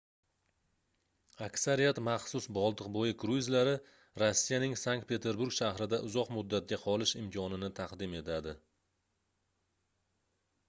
aksariyat maxsus boltiqboʻyi kruizlari rossiyaning sankt-peterburg shahrida uzoq muddatga qolish imkonini taqdim etadi